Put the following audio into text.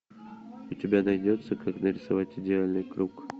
у тебя найдется как нарисовать идеальный круг